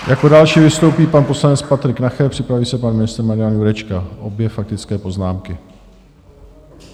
Jako další vystoupí pan poslanec Patrik Nacher, připraví se pan ministr Marian Jurečka - obě faktické poznámky.